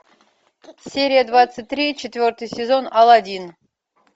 серия двадцать три четвертый сезон алладин